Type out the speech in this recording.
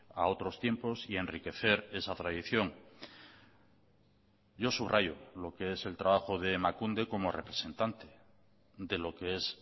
a otros tiempos y enriquecer esa tradición yo subrayo lo que es el trabajo de emakunde como representante de lo que es